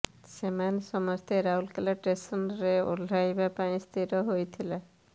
ସେମାନେ ସମସ୍ତେ ରାଉରକେଲା ଷ୍ଟେସନ୍ରେ ଓହ୍ଲାଇବା ପାଇଁ ସ୍ଥିର ହୋଇଥିଲା